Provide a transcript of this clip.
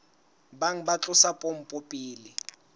bang ba tlosa pompo pele